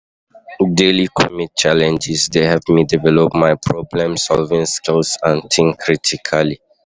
Daily commute challenges dey help me develop my problem-solving skills and think critically.